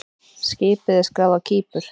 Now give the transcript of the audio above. Skipið er skráð á Kípur.